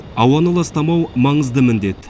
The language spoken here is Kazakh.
ауаны ластамау маңызды міндет